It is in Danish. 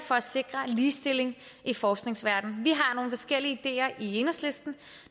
for at sikre ligestilling i forskningsverdenen vi har forskellige ideer i enhedslisten